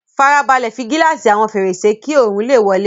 Fara balẹ̀ fi gíláàsì àwọn fèrèsé kí oòrùn lè wọlé